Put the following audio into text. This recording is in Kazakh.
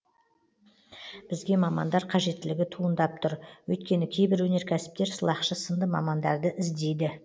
бізге мамандар қажеттілігі туындап тұр өйткені кейбір өнеркәсіптер сылақшы сынды мамандарды іздейді